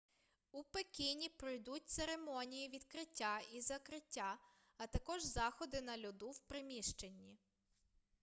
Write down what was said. у пекіні пройдуть церемонії відкриття і закриття а також заходи на льоду в приміщенні